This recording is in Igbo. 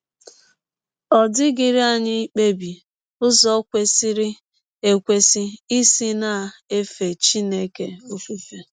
Ọ dịghịrị anyị ikpebi ụzọ kwesịrị ekwesị isi na - efe Chineke ọfụfe.